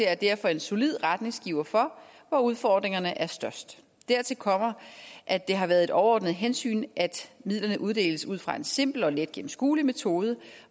er derfor en solid retningsgiver for hvor udfordringerne er størst dertil kommer at det har været et overordnet hensyn at midlerne uddeles ud fra en simpel og let gennemskuelig metode